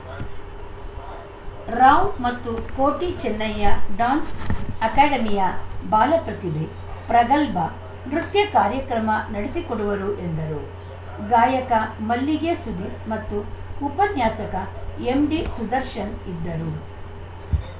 ರಾವ್‌ ಮತ್ತು ಕೋಟಿ ಚೆನ್ನಯ್ಯ ಡ್ಯಾನ್ಸ್‌ ಅಕಾಡೆಮಿಯ ಬಾಲ ಪ್ರತಿಭೆ ಪ್ರಗಲ್ಬಾ ನೃತ್ಯ ಕಾರ್ಯಕ್ರಮ ನಡೆಸಿಕೊಡುವರು ಎಂದರು ಗಾಯಕ ಮಲ್ಲಿಗೆ ಸುಧೀರ್‌ ಮತ್ತು ಉಪನ್ಯಾಸಕ ಎಂಡಿಸುದರ್ಶನ್‌ ಇದ್ದರು